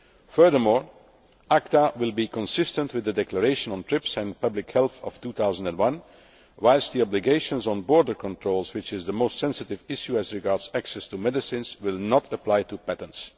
Furthermore, ACTA will be consistent with the Declaration on TRIPS and Public Health of 2001, whilst the obligations on border controls, which is the most sensitive issue as regards access to medicines, will not apply to patents.